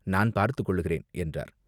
நான் பார்த்துக்கொள்கிறேன்" என்றார்.